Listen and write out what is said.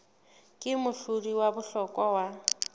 ke mohlodi wa bohlokwa wa